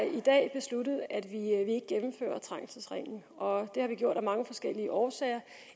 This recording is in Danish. i dag besluttet at vi ikke gennemfører trængselsringen og det har vi gjort af mange forskellige årsager